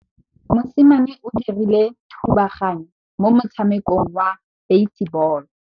Mosimane o dirile thubaganyô mo motshamekong wa basebôlô.